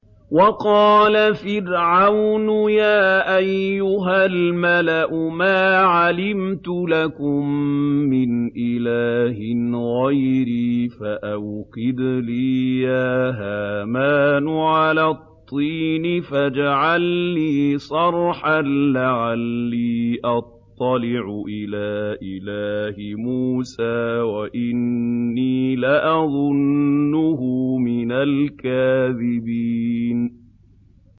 وَقَالَ فِرْعَوْنُ يَا أَيُّهَا الْمَلَأُ مَا عَلِمْتُ لَكُم مِّنْ إِلَٰهٍ غَيْرِي فَأَوْقِدْ لِي يَا هَامَانُ عَلَى الطِّينِ فَاجْعَل لِّي صَرْحًا لَّعَلِّي أَطَّلِعُ إِلَىٰ إِلَٰهِ مُوسَىٰ وَإِنِّي لَأَظُنُّهُ مِنَ الْكَاذِبِينَ